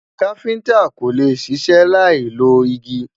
kafinta kólé ṣiṣẹ Lai ló igi